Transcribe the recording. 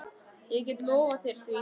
Ég get lofað þér því.